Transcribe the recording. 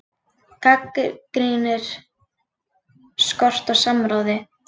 Gagnrýnir skort á samráði